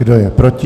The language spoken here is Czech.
Kdo je proti?